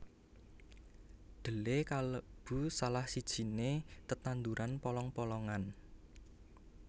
Dhelé kalebu salah sijiné tetanduran polong polongan